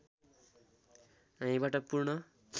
हामीबाट पूर्ण